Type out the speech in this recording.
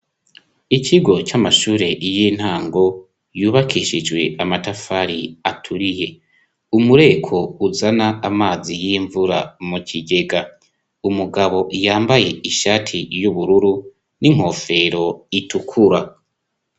Ikigo c'amashure y'intango yubakishijwe amatafari aturiye umureko uzana amazi y'imvura mu kigega umugabo yambaye ishati y'ubururu n'inkofero itukura.